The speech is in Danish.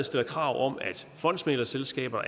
stilles krav om at fondsmæglerselskaber